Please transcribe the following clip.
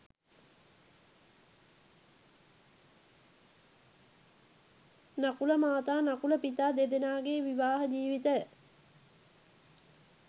නකුලමාතා නකුලපිතා දෙදෙනාගේ විවාහ ජීවිතය